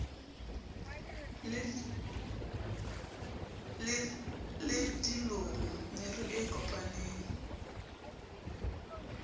le dilomo meru e kopaneng